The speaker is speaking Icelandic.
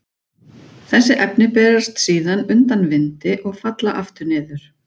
Þessi efni berast síðan undan vindi og falla aftur niður.